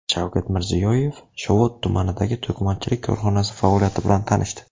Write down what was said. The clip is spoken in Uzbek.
Shavkat Mirziyoyev Shovot tumanidagi to‘qimachilik korxonasi faoliyati bilan tanishdi.